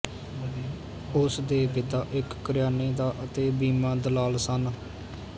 ਉਸਦੇ ਪਿਤਾ ਇੱਕ ਕਰਿਆਨੇ ਦਾ ਅਤੇ ਬੀਮਾ ਦਲਾਲ ਸਨ